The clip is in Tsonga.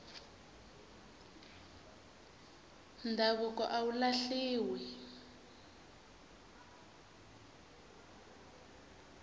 ndhavuko a wu lahliwi